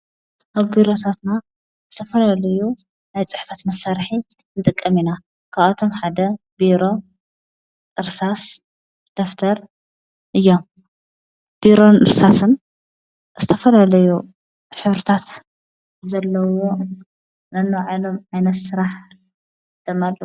ኣብ ቢረሳትታ እዝተፈለለዩ ናይ ጽሕፋት መሣርሒ እንድቀ ሚና ካኣቶም ሓደ ብሮ ርሳስ ደፍር እዮ ብሮን እርሳስም ዝተፈልለዩ ኅብርታት ዘለዎ ነኖባዓሎም ኣይነት ሥራሕ ደማ ኣለው።